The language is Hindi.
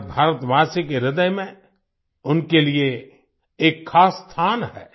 हर भारतवासी के ह्रदय में उनके लिए एक खास स्थान है